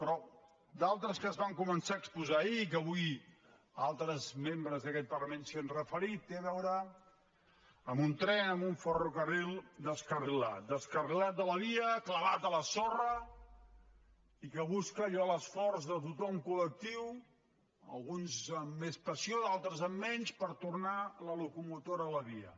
però d’altres que es van començar a exposar ahir i que avui altres membres d’aquest parlament s’hi han referit tenen a veure amb un tren amb un ferrocarril descarrilat descarrilat de la via clavat a la sorra i que busca allò l’esforç de tothom col·lectiu alguns amb més passió altres amb menys per tornar la locomotora a la via